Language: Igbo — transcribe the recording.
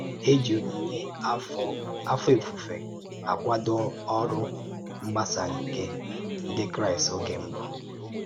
É jí onyínyè afọ́ òfùfò akwàdò ọ̀rụ́ mgbàsà nke ǹdí Kraịst ògé mbù.